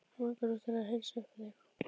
Hann langar svo til að heilsa upp á þig!